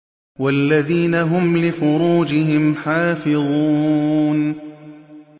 وَالَّذِينَ هُمْ لِفُرُوجِهِمْ حَافِظُونَ